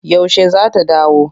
Yaushe za ta dawo?